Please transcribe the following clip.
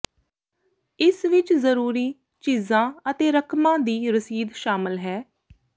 ਇਸ ਵਿਚ ਜ਼ਰੂਰੀ ਚੀਜ਼ਾਂ ਅਤੇ ਰਕਮਾਂ ਦੀ ਰਸੀਦ ਸ਼ਾਮਲ ਹੈ